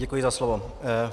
Děkuji za slovo.